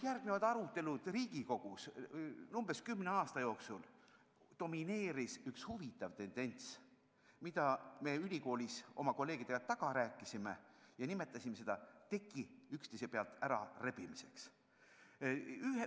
Aruteludel Riigikogus domineeris umbes kümne aasta jooksul üks huvitav tendents, mida me ülikoolis kolleegidega taga rääkisime ja nimetasime teki üksteise pealt ärarebimiseks.